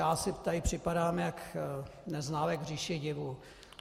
Já si tady připadám jako Neználek v říši divů.